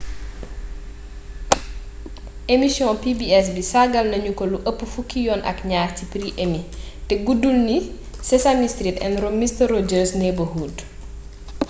emission pbs bi sargal nañu ko lu ëpp fukki yoon ak ñaar ci prix emmy te guddul ni sesame street and mister rogers neighborhood